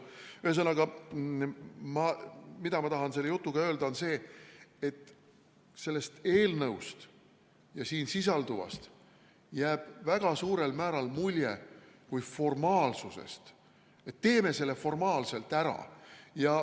Ühesõnaga, ma tahan selle jutuga öelda seda, et sellest eelnõust ja siin sisalduvast jääb väga suurel määral mulje kui formaalsusest – teeme selle formaalselt ära.